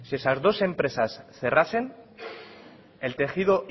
esas dos empresas cerrasen el tejido